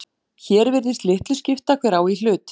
Hér virðist litlu skipta hver á í hlut.